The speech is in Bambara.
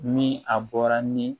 Ni a bɔra ni